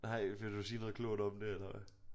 Nej vil du sige noget klogt om det eller hvad